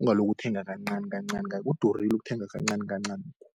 Ungalokhu ukuthenga kancani kancani kudurile ukuthenga kancanikancanokho.